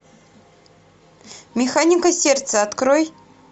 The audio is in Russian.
механика сердца открой